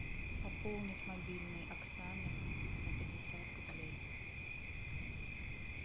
пополнить мобильный оксаны на пятьдесят рублей